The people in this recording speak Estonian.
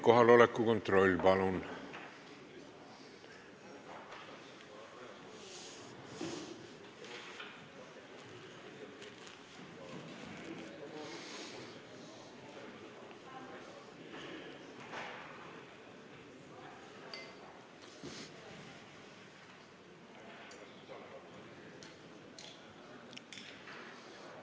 Kohaloleku kontroll, palun!